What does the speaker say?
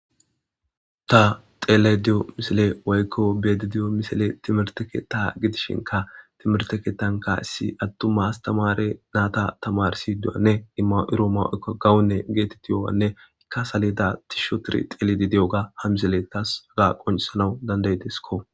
ta xeelediyo misile waykko bedi diyo misile timerteketa gidishinka timerteketanka issi attu mas tamare naata tamarsiduyanne imma7iro ma7oykka gawunne geetetti yowanne ikka salida tisho tir xeeledi di7oga hamisele taas aga qoncisanawu dandaydiskko